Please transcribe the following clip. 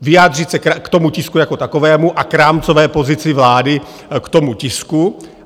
Vyjádřit se k tomu tisku jako takovému a k rámcové pozici vlády k tomu tisku.